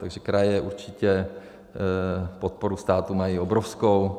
Takže kraje určitě podporu státu mají obrovskou.